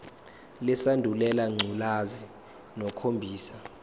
lesandulela ngculazi lukhombisa